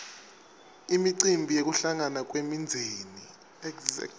imicimbi yekuhlangana kwemindzeni